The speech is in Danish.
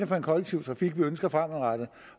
for en kollektiv trafik vi ønsker fremadrettet